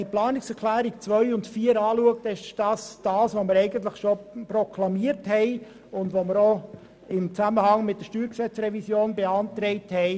Die Planungserklärungen 2 und 4 sind eigentlich das, was wir schon im Zusammenhang mit der StG-Revision beantragt haben: